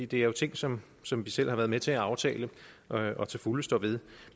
det er jo ting som som vi selv har været med til at aftale og og til fulde står ved